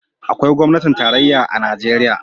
Akwai gwamnatin tarayya a Najeriya.